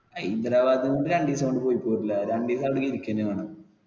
ഹൈദരാബാദ് രണ്ടു ദിവസം കൊണ്ട് പോയി പോരൂല. രണ്ടുദിവസം അവിടെ ഇരിക്കുക ന്നെ വേണം.